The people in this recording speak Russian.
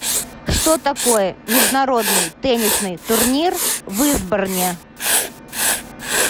что такое международный теннисный турнир в истборне